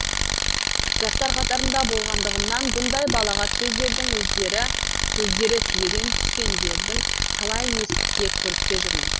жастар қатарында болғандығымнан бұндай балағат сөздердің сөздері түйеден түскендердің талайын естіп те көріп те жүрмін